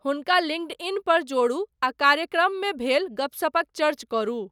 हुनका लिंङ्क्डइनपर जोड़ू, आ कार्यक्रममे भेल गपसपक चर्च करू।